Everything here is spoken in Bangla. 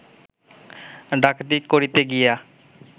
ডাকাতি করিতে গিয়া